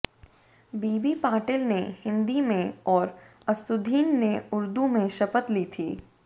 बीबी पाटील ने हिंदी में और असदुद्दीन ने ऊर्दू में शपथ ली है